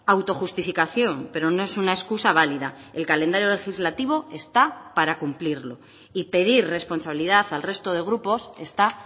autojustificación pero no es una excusa válida el calendario legislativo está para cumplirlo y pedir responsabilidad al resto de grupos está